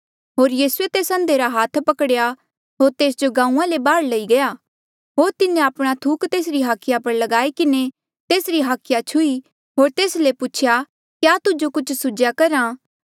होर यीसूए तेस अंधे रा हाथ पकड़ेया होर तेस जो गांऊँआं ले बाहर लई गया होर तिन्हें आपणा थूक तेसरी हाखिया पर लगाई किन्हें तेसरी हाखिया छुही होर तेस ले पूछेया क्या तुजो कुछ सुझ्हा करहा